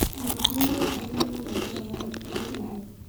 Mawakili nimaugire nĩmona njĩra ya gũtethereria